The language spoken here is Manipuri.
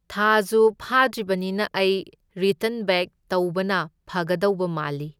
ꯊꯥꯖꯨ ꯐꯥꯗ꯭ꯔꯤꯕꯅꯤꯅ ꯑꯩ ꯔꯤꯇꯟ ꯕꯦꯛ ꯇꯧꯕꯅ ꯐꯒꯗꯧꯕ ꯃꯥꯜꯂꯤ꯫